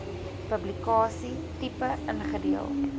publikasie tipe ingedeel